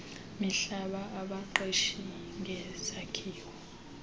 mihlaba abaqeshisa ngezakhiwo